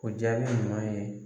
O jaabi ɲuman ye